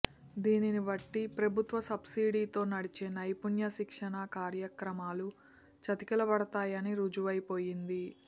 దీనిని బట్టి ప్రభుత్వ సబ్సిడీతో నడిచే నైపుణ్య శిక్షణ కార్య క్రమాలు చతికిలబడతాయని రుజువై పోయింది